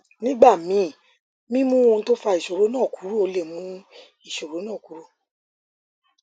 nígbà míì mímú ohun tó fa ìṣòro náà kúrò lè mú ìṣòro náà kúrò